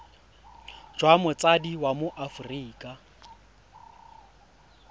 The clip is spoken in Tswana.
jwa motsadi wa mo aforika